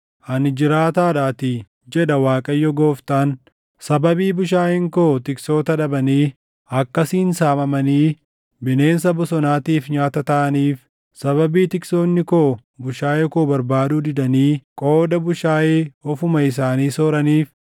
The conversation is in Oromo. Ani jiraataadhaatii, jedha Waaqayyo Gooftaan; sababii bushaayeen koo tiksoota dhabanii akkasiin saamamanii bineensa bosonaatiif nyaata taʼaniif, sababii tiksoonni koo bushaayee koo barbaaduu didanii qooda bushaayee ofuma isaanii sooraniif